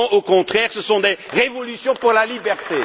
Non, au contraire, ce sont des révolutions pour la liberté.